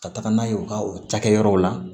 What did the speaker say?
Ka taga n'a ye u ka o cakɛyɔrɔw la